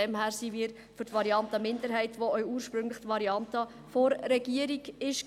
Deshalb sind wir für die Variante der Minderheit, die auch ursprünglich die Variante der Regierung war.